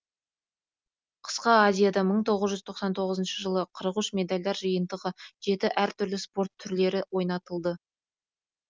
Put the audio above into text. қысқы азияда мың тоғыз жүз тоқсан тоғызыншы жылы қырық үш медальдар жиынтығы жеті әр түрлі спорт түрлері ойнатылды